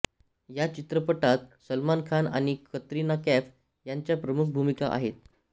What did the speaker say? ह्या चित्रपटात सलमान खान आणि कतरिना कैफ यांच्या प्रमुख भूमिका आहेत